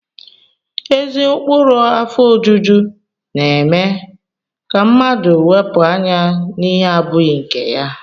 Ezi ụkpụrụ afọ ojuju na-eme ka mmadụ wepụ anya n'ihe abụghị nke ya